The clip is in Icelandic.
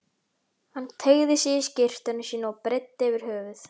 Hann teygði sig í skyrtuna sína og breiddi yfir höfuð.